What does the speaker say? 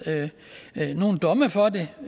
domme for det og